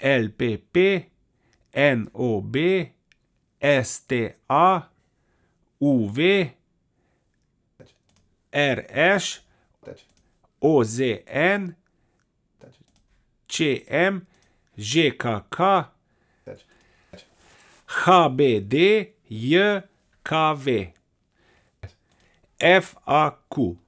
L P P; N O B; S T A; U V; R Š; O Z N; Č M; Ž K K; H B D J K V; F A Q.